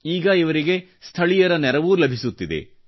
ಈಗ ಇವರಿಗೆ ಸ್ಥಳೀಯರ ನೆರವೂ ಲಭಿಸುತ್ತಿದೆ